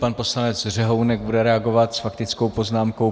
Pan poslanec Řehounek bude reagovat s faktickou poznámkou.